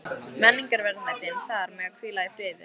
Menningarverðmætin þar mega hvíla í friði.